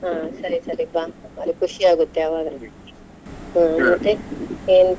ಹಾ ಸರಿ ಸರಿ ಬಾ ಅವ್ರಿಗೆ ಖುಷಿ ಆಗತ್ತೆ ಆವಾಗ ಮತ್ತೆ ಏನ್?